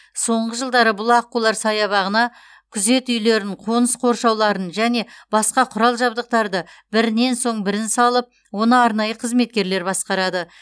соңғы жылдары бұл аққулар саябағына күзет үйлерін қоныс қоршауларын және басқа құрал жабдықтарды бірінен соң бірін салып оны арнайы қызметкерлер басқарады